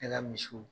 Ne ka misiw